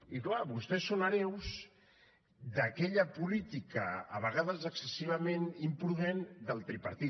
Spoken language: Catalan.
i clar vostès són hereus d’aquella política a vegades excessivament imprudent del tripartit